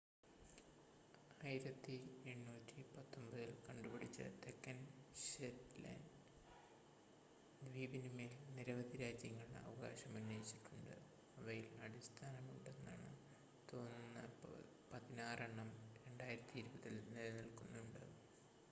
1819 ൽ കണ്ടുപിടിച്ച തെക്കൻ ഷെറ്റ്ലാൻ്റ് ദ്വീപിനുമേൽ നിരവധി രാജ്യങ്ങൾ അവകാശമുന്നയിച്ചിട്ടുണ്ട് അവയിൽ അടിസ്ഥാനമുണ്ടെന്ന് തോന്നുന്ന പതിനാറെണ്ണം 2020 ൽ നിലനിൽക്കുന്നുണ്ട്